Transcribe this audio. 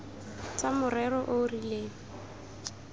tsa morero o o rileng